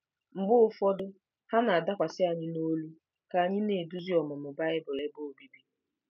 Mgbe ụfọdụ, ha na-adakwasị anyị n’olu ka anyị na-eduzi ọmụmụ Bible ebe obibi.